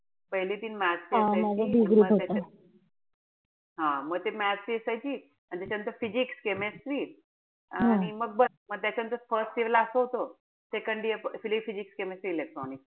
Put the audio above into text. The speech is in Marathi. पहिले तीन math ची असायची हा म ते math ची असायची. अन त्याच्यानंतर physics chemistry आणि मग बस त्याच्यानंतर first year ला असं होत. second year physics chemistry electronics.